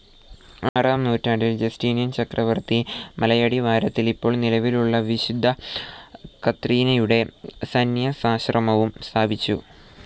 ആറാം നൂറ്റാംണ്ടിൽ ജസ്റ്റീനിയൻ ചക്രവർത്തി മലയടിവാരത്തിൽ ഇപ്പോൾ നിലവിലുളള വിശുദ്ധ കത്രീനയുടെ സന്യാസാശ്രമവും സ്ഥാപിച്ചു.